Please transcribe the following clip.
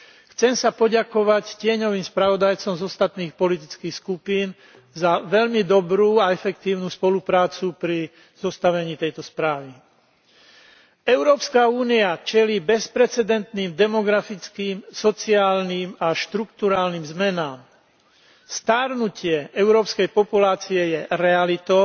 Chcem sa poďakovať tieňovým spravodajcom z ostatných politických skupín za veľmi dobrú a efektívnu spoluprácu pri zostavení tejto správy. Európska únia čelí bezprecedentným demografickým, sociálnym a štrukturálnym zmenám. Starnutie európskej populácie je realitou